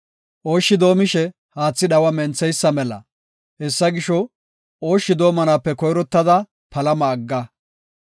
Ooshshi doomishe haatha dhawa mentheysa mela; hessa gisho ooshshi doomanaape koyrottada palama agga.